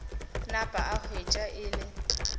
napa a hwetša e le